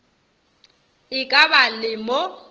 e ka ba le mo